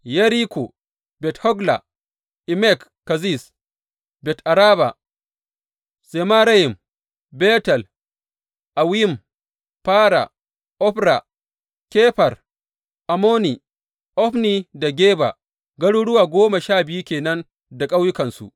Yeriko, Bet Hogla, Emek Keziz, Bet Araba, Zemarayim, Betel, Awwim, Fara, Ofra, Kefar Ammoni, Ofni da Geba, garuruwa goma sha biyu ke nan da ƙauyukansu.